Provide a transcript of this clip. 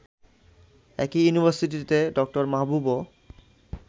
একই ইউনিভার্সিটিতে ড. মাহবুবও